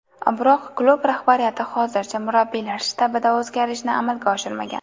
Biroq klub rahbariyati hozircha murabbiylar shtabida o‘zgarishni amalga oshirmagan.